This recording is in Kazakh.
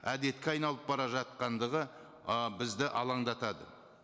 әдетке айналып бара жатқандығы ы бізді алаңдатады